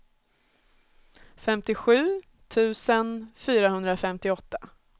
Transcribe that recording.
femtiosju tusen fyrahundrafemtioåtta